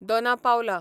Dona Paula